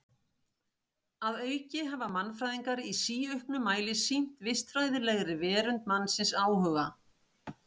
Að auki hafa mannfræðingar í síauknum mæli sýnt vistfræðilegri verund mannsins áhuga.